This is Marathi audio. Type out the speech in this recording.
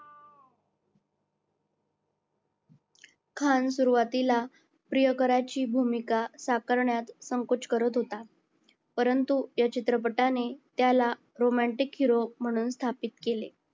खान सुरुवातीला प्रियकराची भूमिका साकारण्यात संकोच करत होता परंतु या चित्रपटाने त्याला romantic hero म्हणून स्थापित केले